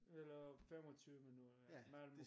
eller 25 minutter Malmø